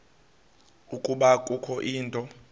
ukuba kukho into